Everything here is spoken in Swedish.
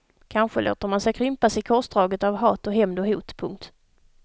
Kanske låter man sig krympas i korsdraget av hat och hämnd och hot. punkt